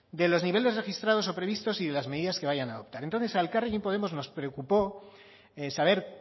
de los niveles registrados o previstos y de las medidas que vayan a adoptar entonces a elkarrekin podemos nos preocupó saber